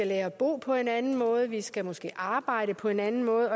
lære at bo på en anden måde og vi skal måske også arbejde på en anden måde